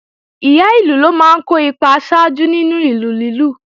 Ìyá ìlù ló máa ń kó ipa aṣáájú nínú ìlù lílù